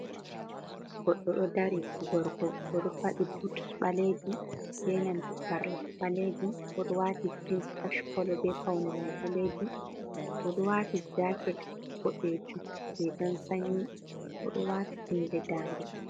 Goɗɗo ɗo dari gorko, bo ɗo faɗi butis ɓaleejum, be nanta sarla ɓaleejum, bo ɗo waati jins ach kolo, be pawne may ɓaleejum, bo ɗo waati jaaket boɗeejum, riigan sannyi bo ɗo waati huunde daande.